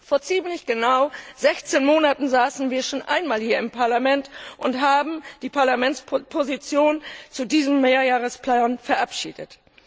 Vor ziemlich genau 16 Monaten saßen wir schon einmal hier im Parlament und haben die Parlamentsposition zu diesem Mehrjahresplan verabschiedet.